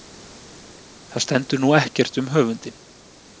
Það stendur nú ekkert um höfundinn.